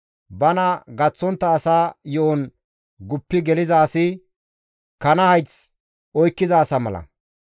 Bana gaththontta asa yo7on guppi geliza asi kana hayth oykkiza asa mala.